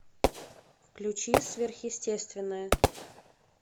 включи сверхъестественное